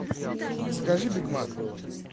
закажи биг мак